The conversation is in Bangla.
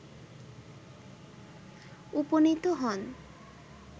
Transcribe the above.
উপনীত হন